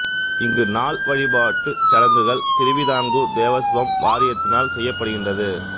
இங்கு நாள் வழிபாட்டு சடங்குகள் திருவிதாங்கூர் தேவஸ்வம் வாரியத்தினால் செய்யப்படுகின்றது